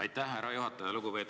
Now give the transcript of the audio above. Aitäh, härra juhataja!